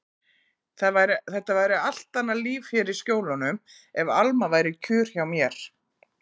Þetta væri allt annað líf hér í Skjólunum ef Alma væri kjur hjá mér.